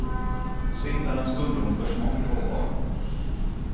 Sill är en stundom försmådd råvara.